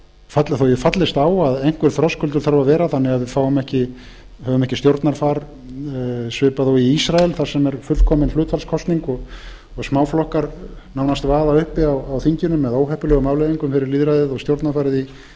ég fallist á að einhver þröskuldur þurfi að vera þannig að við höfum ekki stjórnarfar svipað og í ísrael þar sem er fullkomin hlutfallskosning og smáflokkar nánast vaða uppi á þinginu með óheppilegum afleiðingum fyrir lýðræðið og stjórnarfarið